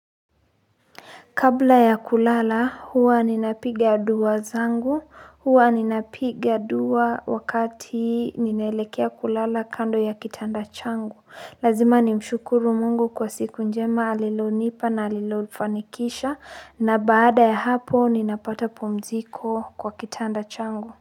Kabla ya kulala huwa ninapiga duwa zangu, huwa ninapiga duwa wakati ninaelekea kulala kando ya kitanda changu. Lazima ni mshukuru Mungu kwa siku njema alilonipa na alilolifanikisha na baada ya hapo ninapata pumziko kwa kitanda changu.